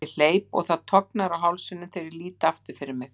Ég hleyp og það tognar á hálsinum þegar ég lít aftur fyrir mig.